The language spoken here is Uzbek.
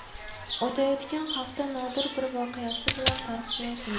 O‘tayotgan hafta nodir bir voqeasi bilan tarixga yozildi.